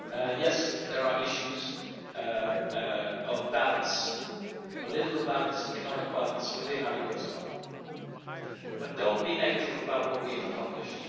Yes, there are issues of balance political balance, economic balance within our eurozone, but do not be negative about what we have accomplished.